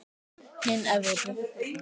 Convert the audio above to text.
Hin Evrópu